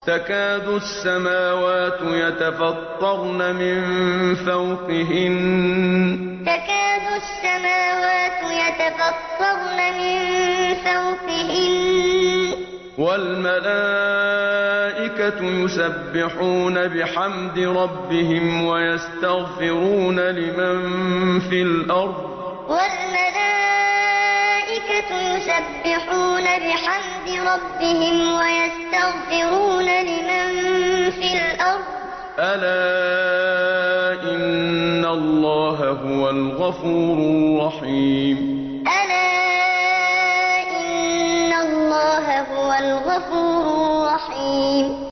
تَكَادُ السَّمَاوَاتُ يَتَفَطَّرْنَ مِن فَوْقِهِنَّ ۚ وَالْمَلَائِكَةُ يُسَبِّحُونَ بِحَمْدِ رَبِّهِمْ وَيَسْتَغْفِرُونَ لِمَن فِي الْأَرْضِ ۗ أَلَا إِنَّ اللَّهَ هُوَ الْغَفُورُ الرَّحِيمُ تَكَادُ السَّمَاوَاتُ يَتَفَطَّرْنَ مِن فَوْقِهِنَّ ۚ وَالْمَلَائِكَةُ يُسَبِّحُونَ بِحَمْدِ رَبِّهِمْ وَيَسْتَغْفِرُونَ لِمَن فِي الْأَرْضِ ۗ أَلَا إِنَّ اللَّهَ هُوَ الْغَفُورُ الرَّحِيمُ